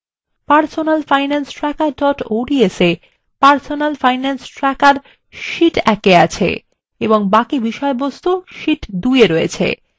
personalfinancetracker ods A